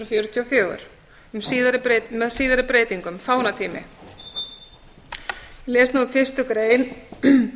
fjörutíu og fjögur með síðari breytingum fánatími ég les nú upp fyrstu grein